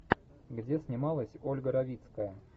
где снималась ольга равицкая